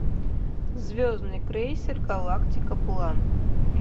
звездный крейсер галактика план